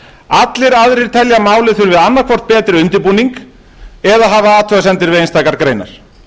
allir aðrir telja að málið þurfi annaðhvort betri undirbúning eða hafa athugasemdir við einstakar greinar